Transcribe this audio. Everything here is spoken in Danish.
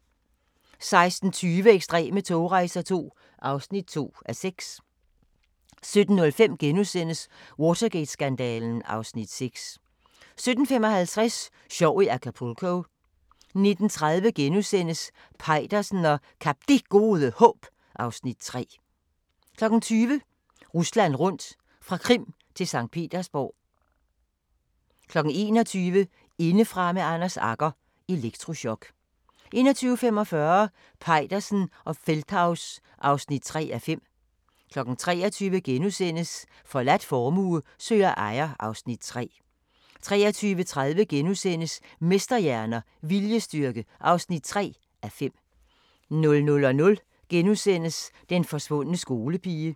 16:20: Ekstreme togrejser II (2:6) 17:05: Watergate-skandalen (Afs. 6)* 17:55: Sjov i Acapulco 19:30: Peitersen og Kap Det Gode Håb (Afs. 3)* 20:00: Rusland rundt – fra Krim til Skt. Petersborg 21:00: Indefra med Anders Agger – Elektrochok 21:45: Peitersen og Feldthaus (3:5) 23:00: Forladt formue søger ejer (Afs. 3)* 23:30: Mesterhjerner – Viljestyrke (3:5)* 00:00: Den forsvundne skolepige *